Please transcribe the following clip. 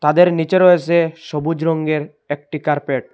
ওদের নীচে রয়েসে সবুজ রঙ্গের একটি কার্পেট ।